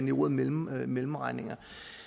i ordet mellemregninger mellemregninger